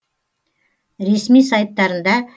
ресми сайттарында